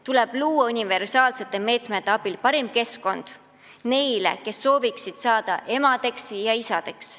Tuleb luua universaalsete meetmete abil parim keskkond neile, kes soovivad saada emadeks ja isadeks.